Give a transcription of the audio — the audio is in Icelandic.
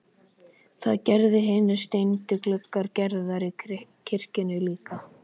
Það gera hinir steindu gluggar Gerðar í kirkjunni líka.